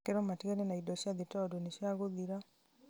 makerwo matigane na indo cia thĩ tondũ nĩ cia gũthira